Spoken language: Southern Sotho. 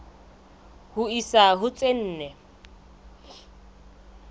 ho isa ho tse nne